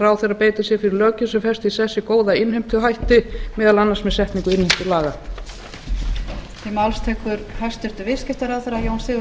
ráðherra beiti sér fyrir löggjöf sem festir í sessi góða innheimtuhætti meðal annars með setningu innheimtulaga